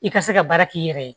I ka se ka baara k'i yɛrɛ ye